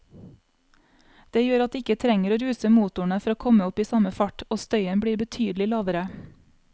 Det gjør at de ikke trenger å ruse motorene for å komme opp i samme fart, og støyen blir betydelig lavere.